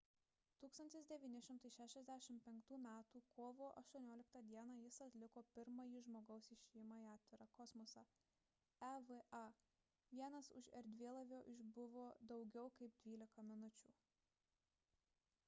1965 m. kovo 18 d. jis atliko pirmąjį žmogaus išėjimą į atvirą kosmosą eva – vienas už erdvėlaivio išbuvo daugiau kaip dvylika minučių